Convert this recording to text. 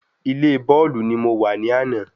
Ilé bọ́ọ̀lù ní mo wa ní àná